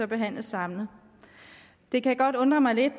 behandles samlet det kan godt undre mig lidt